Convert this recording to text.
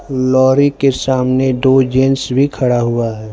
Lorry के सामने दो जेंट्स भी खड़ा हुआ हैं।